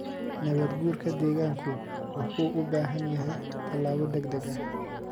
Nabaad-guurka deegaanku wuxuu u baahan yahay tallaabo degdeg ah.